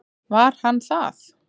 Var hann það?